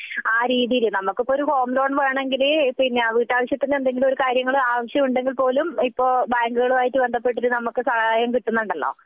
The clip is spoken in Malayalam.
ആ രീതിയിൽ നമ്മക് ഇപ്പൊ ഒരു ഹോം ലോൺ വേണമെങ്കിൽ വീട്ടു ആവശ്യത്തിന് എന്തെങ്കിലും ഒരു കാര്യങ്ങൾ ആവശ്യം ഉണ്ടെങ്കിൽ പോലും ഇപ്പൊ ബാങ്കുകളുമായിട്ട് ബന്ധപെട്ടിട്ടു ഇപ്പൊ സഹായം കിട്ടുന്നുണ്ടല്ലോ